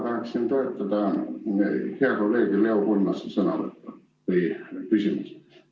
Ma tahaksin toetada hea kolleegi Leo Kunnase sõnavõttu või küsimust.